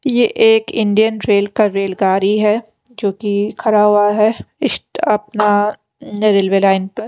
ये एक Indian rail का रेलगारी है जोकि खरा हुआ है इश्ट अपना रेलवे लाइन पर --